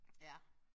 Ja